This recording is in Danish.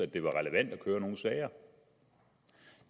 det var relevant at køre nogen sager